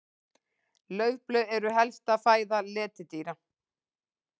Laufblöð eru helsta fæða letidýra.